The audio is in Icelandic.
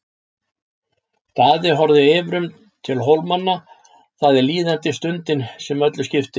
Daði horfði yfirum til Hólamanna,-það er líðandi stundin sem öllu skiptir.